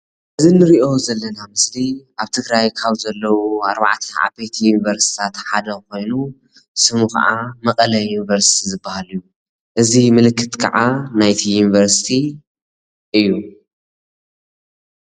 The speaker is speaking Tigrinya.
እዚ ንሪኦ ዘለና ምስሊ ኣብ ትግራይ ካብ ዘለዉ ኣርባዕተ ዩኒቨርስቲታት ሓደ ኮይኑ ሽሙ ከዓ መቐለ ዩኒቨርስቲ ዝበሃል እዩ። እዚ ምልክት ከዓ ናይቲ ዩኒቨርስቲ እዩ::